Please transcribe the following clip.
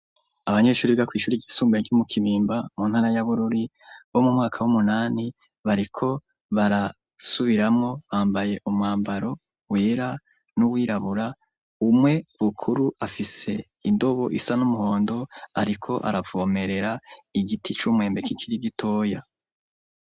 Abanyeshuri biga kw'Ishuri ry'isumbaye ry'Umukimimba, mu ntara ya Bururi bo mu mwaka w'umunani, bariko barasubiramo bambaye umwambaro wera, n'uwirabura, umwe Bukuru afise indobo isa n'umuhondo, ariko aravomerera Igiti c'Umwembe k'ikiri gitoya.